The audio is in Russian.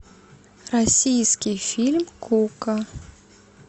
российский фильм кука